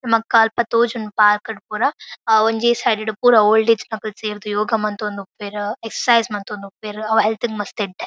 ನಮಕ್ ಅಲ್ಪ ತೋಜುನ ಪಾರ್ಕ್ ಡ್ ಪುರ ಒಂಜೆ ಸೈಡ್ ಡ್ ಪುರ ಓಲ್ಡ್ ಏಜ್ ದಕುಲು ಸೇರ್ದ್ ಯೋಗ ಮಂತೊಂದು ಉಪ್ವೆರ್ ಎಕ್ಸಸೈಜ್ ಮಂತೊಂದು ಉಪ್ವೆರ್ ಅವು ಹೆಲ್ತ್ ಗ್ ಮಸ್ತ್ ಎಡ್ಡೆ